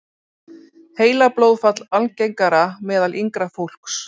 Heilablóðfall algengara meðal yngra fólks